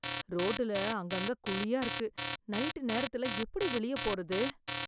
ரோட்டுல அங்க, அங்க குழியா இருக்கு, நைட் நேரத்துல எப்படி வெளிய போறது?